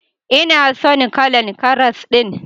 Ina son kalan karas din.